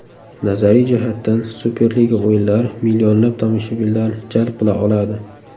Nazariy jihatdan Superliga o‘yinlari millionlab tomoshabinlarni jalb qila oladi.